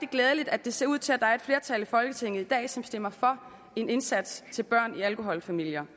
glædeligt at det ser ud til at der er et flertal i folketinget i dag som stemmer for en indsats til børn i alkoholfamilier